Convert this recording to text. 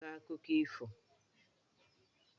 Anyị a ga-akọ akụkọ ifo?